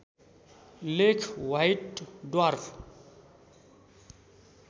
लेख white dwarf